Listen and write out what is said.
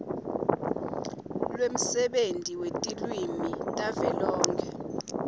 lwemsebenti wetilwimi tavelonkhe